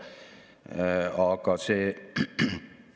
Järgmisena on kohane vaadata sügavamalt sisse teise teemasse: rohepöördesse.